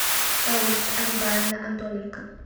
раиса алибаевна антоненко